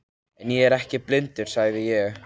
En ég er ekki blindur, sagði ég.